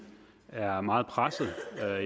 er meget pressede